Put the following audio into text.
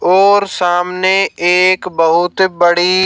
और सामने एक बहुत बड़ी--